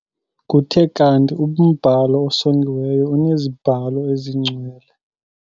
Kuthe kanti umbhalo osongiweyo uneziBhalo eziNgcwele.